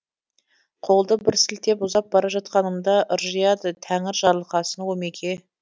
қолды бір сілтеп ұзап бара жатқанымда ыржияды тәңір жарылқасын омеке